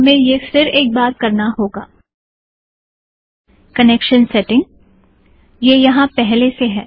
हमे यह फिर एक बार करना होगा - कनेक्शन सेटिंगज़ - यह यहाँ पहले से है